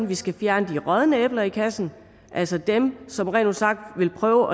vi skal fjerne de rådne æbler i kassen altså dem som rent ud sagt vil prøve